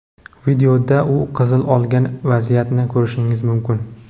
Videoda u qizil olgan vaziyatni ko‘rishingiz mumkin.